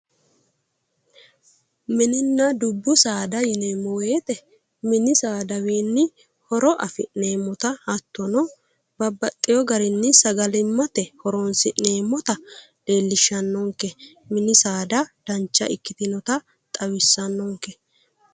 minenna dubbu saada yineemmowoyite mini saadawiinni horo afi'neemmota hattono babbaxxino garinni sagallimmate horoonsi'neemmota leellishshannonke mini saada dancha ikkitinota xawissannonke.